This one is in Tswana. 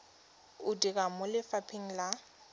o dira mo lefapheng la